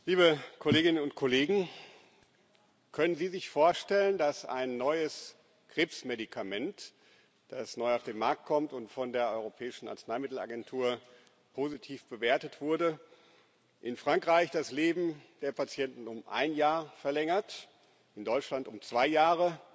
Herr Präsident, liebe Kolleginnen und Kollegen! Können Sie sich vorstellen, dass ein neues Krebsmedikament, das neu auf den Markt kommt und von der Europäischen Arzneimittelagentur positiv bewertet wurde, in Frankreich das Leben der Patienten um ein Jahr verlängert, in Deutschland um zwei Jahre,